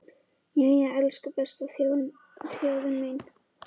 Jæja, elsku besta þjóðin mín!